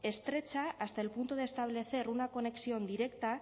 estrecha hasta el punto de establecer una conexión directa